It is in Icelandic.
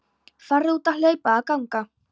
Farðu út að hlaupa eða ganga.